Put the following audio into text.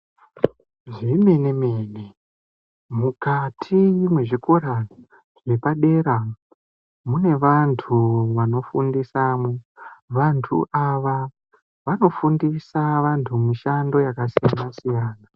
Zvemene mene mukati mwezvikora zvepadera mune vantu vanofundisamwo, vantu ava vanofundisa vantu mishando yakasiyana siyana.